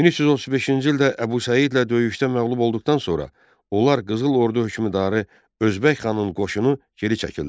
1335-ci ildə Əbu Səidlə döyüşdə məğlub olduqdan sonra onlar qızıl ordu hökmdarı Özbək xanın qoşunu geri çəkildilər.